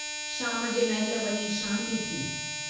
शाम जे महिल वञी शांती थी।